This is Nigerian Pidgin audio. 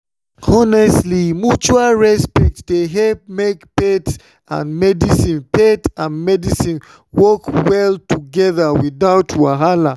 honestly mutual respect dey help make faith and medicine faith and medicine work well together without wahala.